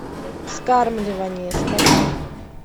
вскармливание скачай